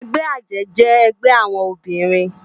Ègbè àjè jè ègbè áwòn óbirin